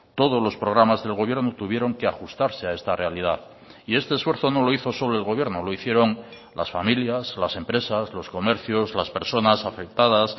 todos los programas del gobierno tuvieron que ajustarse a esta realidad y este esfuerzo no lo hizo solo el gobierno lo hicieron las familias las empresas los comercios las personas afectadas